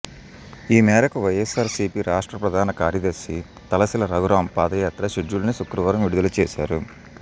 ఈ మేరకు YSR CP రాష్ట్ర ప్రధాన కార్యదర్శి తలశిల రఘురాం పాదయాత్ర షెడ్యూల్ను శుక్రవారం విడుదల చేశారు